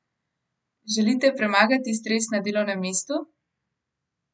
Želite premagati stres na delovnem mestu?